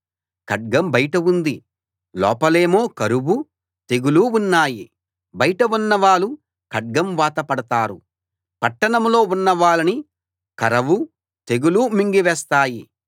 ఖడ్గం బయట ఉంది లోపలేమో కరవూ తెగులూ ఉన్నాయి బయట ఉన్నవాళ్ళు ఖడ్గం వాతపడతారు పట్టణంలో ఉన్నవాళ్ళని కరవూ తెగులూ మింగివేస్తాయి